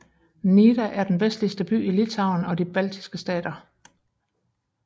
Nida er den vestligste by i Litauen og de Baltiske Stater